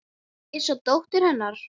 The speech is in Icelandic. Ég sá dóttur. hennar.